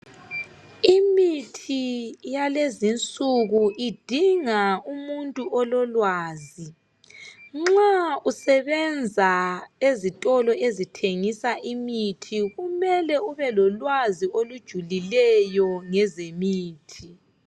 Imithi yalezinsuku idinga umuntu ololwazi. Nxa usebenza ezitolo ezithengisa imithi kumele ubelolwazi olujulileyo ngezemithi.